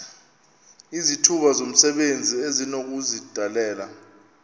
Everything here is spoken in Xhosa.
izithuba zomsebenzi esinokuzidalela